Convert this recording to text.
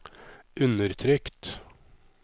undertrykt